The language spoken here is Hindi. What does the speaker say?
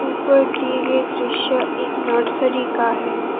ऊपर दिए गए दृश्य एक नर्सरी का है।